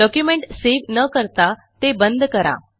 document save न करता ते बंद करा